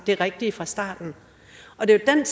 det rigtige fra starten og det er